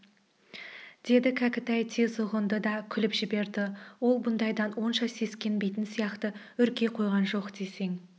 деді кәкітай тез ұғынды да күліп жіберді ол бұндайдан онша сескенбейтін сияқты үрке қойған жоқ десең